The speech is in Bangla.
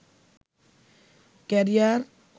ক্যারিয়ার